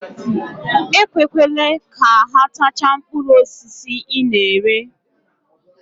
Ekwekwele ka ha tachaa mkpụrụ osisi ị na-ere.